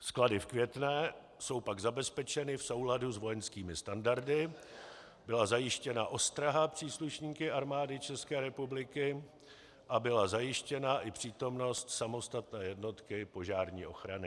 Sklady v Květné jsou pak zabezpečeny v souladu s vojenskými standardy, byla zajištěna ostraha příslušníky Armády České republiky a byla zajištěna i přítomnost samostatné jednotky požární ochrany.